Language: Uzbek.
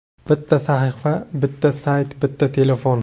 Bitta sahifa, bitta sayt, bitta telefon.